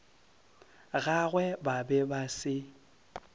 gagwe ba be ba se